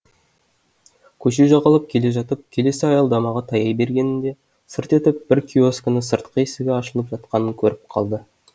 көше жағалап келе жатып келесі аялдамаға таяй бергенінде сырт етіп бір киоскінің сыртқы есігі ашылып жатқанын көріп қалды